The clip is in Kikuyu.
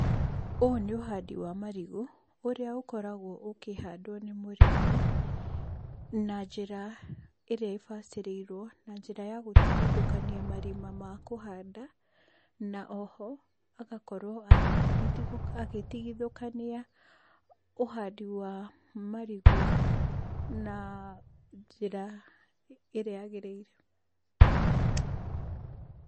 Ũũ nĩ ũhandi wa marigũ, ũrĩa ũkoragwo ũkĩhando nĩ mũrĩmi, na njĩra, ĩrĩa ĩbacĩrĩirũo, na njĩra ya gũtigithũkania marima ma kũhanda, na oho, agakorũo agĩrigi agĩtigithũkania, ũhandi wa, marigũ, na, njira, ĩrĩa yagĩrĩire.